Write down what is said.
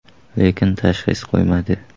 Lekin tashxis qo‘yilmadi.